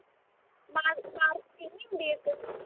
ਮਾਰ marketing ਨੀ ਹੁੰਦੀ ਇੱਕ